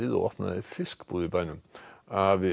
og opnaði fiskbúð í bænum afi